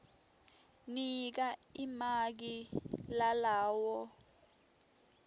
nika limaki lalawo